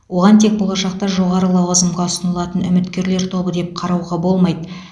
оған тек болашақта жоғары лауазымға ұсынылатын үміткерлер тобы деп қарауға болмайды